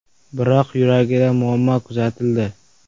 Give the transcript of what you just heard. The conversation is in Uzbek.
Biroq yuragida muammo kuzatildi.